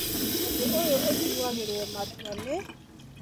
ũndũ ũyũ ũtuagĩrwo matua nĩ